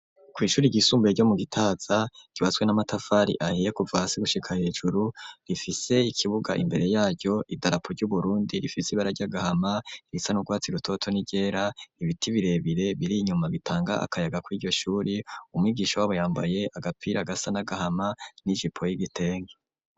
Kw'ishure ryisumbuye ryo mu Gitaza ryubatswe n'amatafari ahiye kuva hasi gushika hejuru, rifise ikibuga imbere yaryo idarapo ry'Uburundi rifise ibara ry'agahama, irisa n'urwatsi rutoto n'iryera, ibiti birebire biri inyuma bitanga akayaga kw'iryo shure, umwigisha wabo yambaye agapira gasa n'agahama n'ijipo y'igitenge.